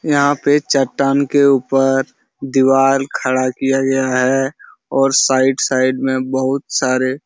यहाँ पे चट्टान के ऊपर दीवाल खड़ा किया गया है और साइड साइड में बहोत सारे --